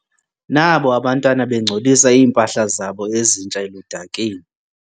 Nabo abantwana bengcolisa iimpahla zabo ezintsha eludakeni.